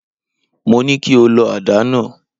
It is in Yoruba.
Mo ní kí o lọ àdá náà.!